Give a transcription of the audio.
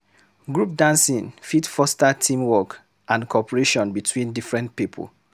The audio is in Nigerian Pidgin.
Group dancing fit foster team work and cooperation between different pipo